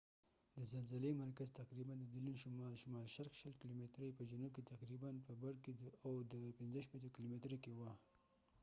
د زلزلې مرکز تقریباً د دیلون شمال- شمال شرق 20 کیلومترۍ 15 میله کې او د butte په جنوب کې تقریباً په 65 کیلومترۍ 40 میلو کې وه